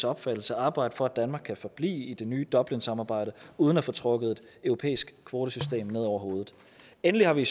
opfattelse arbejde for at danmark kan forblive i det nye dublinsamarbejde uden at få trukket et europæisk kvotesystem ned over hovedet endelig har vi